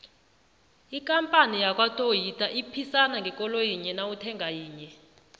ikampani yakwatoyita iphisana ngekoloyi yinye nawuthenga yinye